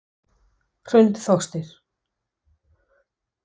Hrund Þórsdóttir: Af hverju?